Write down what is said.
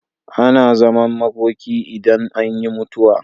Ana zaman makoki ne idan anyi mutuwa.